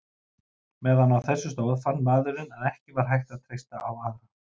Meðan á þessu stóð fann maður að ekki var hægt að treysta á aðra.